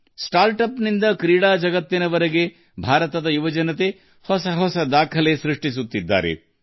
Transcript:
ನವೋದ್ಯಮಗಳಿಂದ ಕ್ರೀಡಾ ಪ್ರಪಂಚದವರೆಗೆ ಭಾರತದ ಯುವಜನತೆ ಹೊಸ ದಾಖಲೆಗಳನ್ನು ಮಾಡುತ್ತಿದ್ದಾರೆ